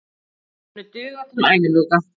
Þeir munu duga til æviloka.